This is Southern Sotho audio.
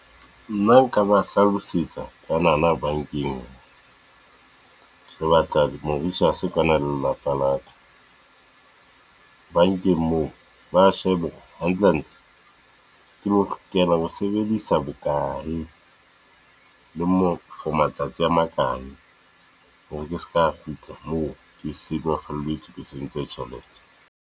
Nna nka ba hlalosetsa kwanana bankeng, o lo batla se kwana lelapa laka. Bankeng moo ba shebe hantle hantle, ke lokela ho sebedisa bokae le for matsatsi a makae? Hore ke seka kgutla moo, ke sulafalletswe ke sentse tjhelete.